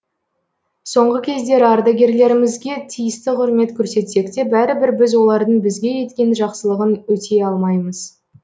соңғы кездері ардагерлермізге тиісті құрмет көрсетсек те бәрібір біз олардың бізге еткен жақсылығын өтей алмаймыз